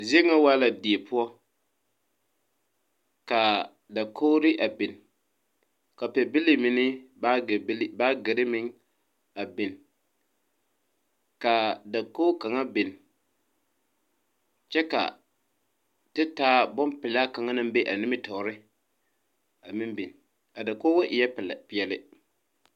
Zie ŋa waa la die poɔ kaa dakogre a bin ka pɛbile meŋ ne baagi bile baagyirre meŋ a bin kaa dakoge kaŋa bin kyɛ ka te taa bonpilaa kaŋa naŋ be a nimitoore a meŋ bin a dakoge eɛɛ peɛɛle.